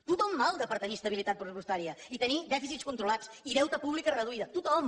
tothom malda per tenir estabilitat pressupostària i tenir dèficits controlats i deute públic reduït tothom